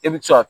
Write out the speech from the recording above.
E bɛ se ka